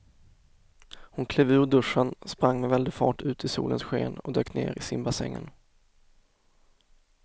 Hon klev ur duschen, sprang med väldig fart ut i solens sken och dök ner i simbassängen.